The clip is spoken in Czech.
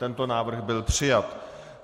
Tento návrh byl přijat.